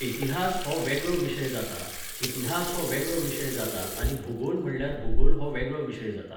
इतिहास हो वेगळो विशय जाता, इतिहास हो वेगळो विशय जाता आनी भुगोल म्हणल्यार भुगोल हो वेगळो विशय जाता